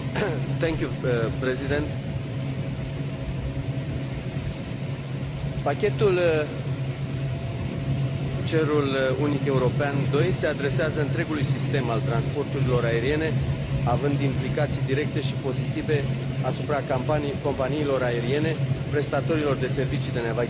Pachetul cerul unic european II se adresează întregului sistem al transporturilor aeriene, având implicații directe și pozitive asupra companiilor aeriene, prestatorilor de servicii de navigație aeriană, controlorilor de trafic, aeroporturilor, industriei aeronautice.